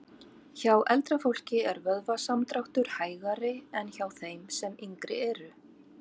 Hjá eldra fólki er vöðvasamdráttur hægari en hjá þeim sem yngri eru.